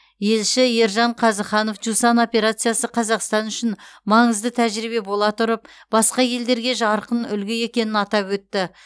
елші ержан қазыханов жусан операциясы қазақстан үшін маңызды тәжірибе бола тұрып басқа елдерге жарқын үлгі екенін атап өтті